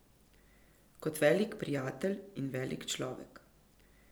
Kot velik prijatelj in velik človek.